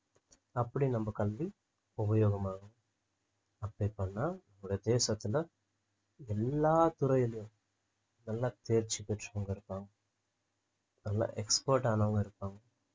அப்படி நம்ம கல்வி உபயோகமாகும் apply பண்ணா ஒரு தேசத்துல எல்லா துறையிலும் நல்லா தேர்ச்சி பெற்றுக்கொள்வதற்காகவும் நல்லா expert ஆனவங்க இருப்பாங்க